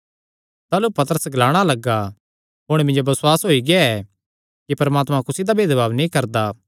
ताह़लू पतरस ग्लाणा लग्गा हुण मिन्जो बसुआस होई गेआ कि परमात्मा कुसी दा भेदभाव नीं करदा